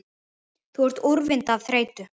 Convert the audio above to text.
Þú ert úrvinda af þreytu